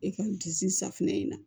E ka disi safinɛ in na